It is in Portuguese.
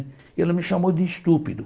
E ela me chamou de estúpido.